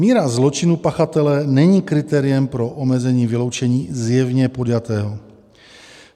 Míra zločinu pachatele není kritériem pro omezení vyloučení zjevně podjatého.